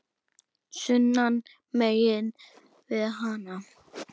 sunnan megin við hana.